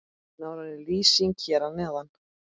Nánari lýsing hér að neðan.